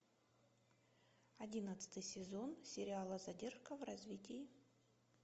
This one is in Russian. одиннадцатый сезон сериала задержка в развитии